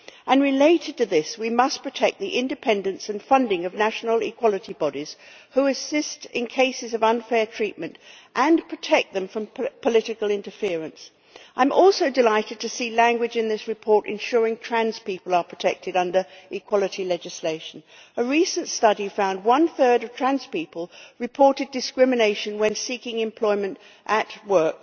On a related point, we have to protect the independence and funding of national equality bodies, which assist in cases of unfair treatment, and we must likewise protect them from political interference. I am also delighted to see language in this report ensuring that trans people are protected under equality legislation. A recent study found that one third of trans people reported discrimination when seeking employment at